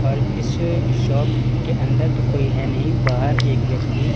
और इस शॉप के अंदर तो कोई है नहीं बाहर एक व्यक्ति--